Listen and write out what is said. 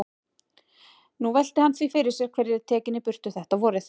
Nú velti hann því fyrir sér hver yrði tekinn í burtu þetta vorið.